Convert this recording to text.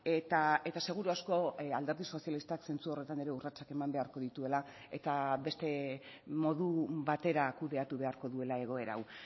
eta seguru asko alderdi sozialistak zentzu horretan ere urratsak eman beharko dituela eta beste modu batera kudeatu beharko duela egoera hau